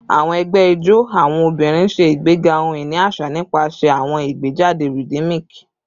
Awọn ẹgbẹ ijó awọn obinrin ṣe igbega ohun-ini aṣa nipasẹ awọn igbejade rhythmic